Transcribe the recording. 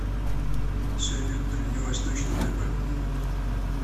салют дальневосточный тб